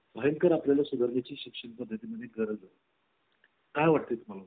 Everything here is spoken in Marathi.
ते त्यांच्या स्वार्थासाठी काम करतात आणि प्रत्येक निवडणुकीत लोकांना मूर्ख बनवत असतात.